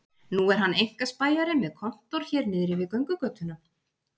Nú er hann einkaspæjari með kontór hér niðri við göngugötuna